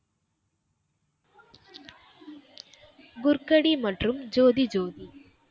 குர்கடி மற்றும் ஜோதி ஜோதி.